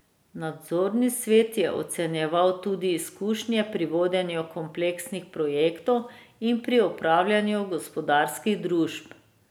Nadzorni svet je ocenjeval tudi izkušnje pri vodenju kompleksnih projektov in pri upravljanju gospodarskih družb.